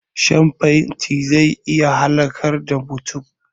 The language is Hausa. Shan fenti zai iya halakar da mutum